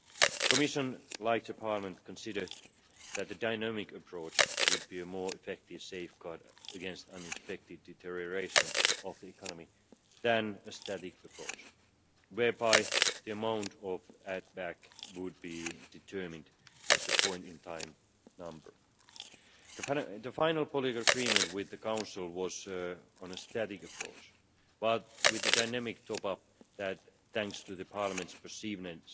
The Commission, like Parliament, considers that the dynamic approach would be a more effective safeguard against unexpected deterioration of the economy than a static approach, whereby the amount of add back would be determined as a point in time number. The final political agreement with the Council was on a static approach, but with the dynamic top up that, thanks to the Parliament's perseverance